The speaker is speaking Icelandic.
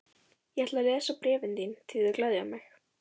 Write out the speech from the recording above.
Ég ætla að lesa bréfin þín því þau gleðja mig.